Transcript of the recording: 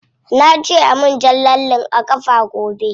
Na ce ayi min jan lalle a kafa gobe.